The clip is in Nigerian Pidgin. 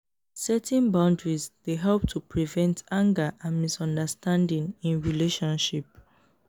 setting boundaries dey help to prevent anger and misunderstanding in relationship.